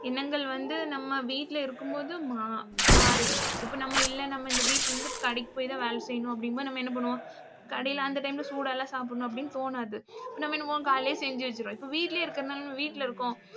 எண்ணங்கள் வந்து நம்ம வீட்ல இருக்கும்போது மா~ மாறுது. இப்ப நம்ம இல்ல நம்ம இந்த வீட்ல இருந்து கடைக்கு போய் தான் வேலை செய்யணும் அப்படிங்கும்போது நம்ம என்ன பண்ணுவோம் கடையில அந்த டைம்ல சூடா எல்லாம் சாப்பிடணும் அப்படீன்னு தோணாது. இப்ப நம்ம என்ன பண்ணுவோம் காலையிலேயே செஞ்சு வச்சுருவோம். இப்ப வீட்லயே இருக்கிறதுனால நம்ம வீட்ல இருக்கோம்